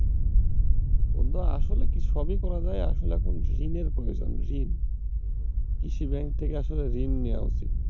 বন্ধুরা আসলে কি সবই করা যায় আসলে এখন ঋণের প্রয়োজন, কৃষি ব্যাংক থেকে আসলে ঋণ নেয়া উচিত।